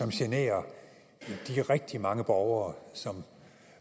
generer de rigtig mange borgere